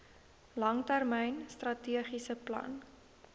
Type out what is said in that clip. langtermyn strategiese plan